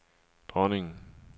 dronningen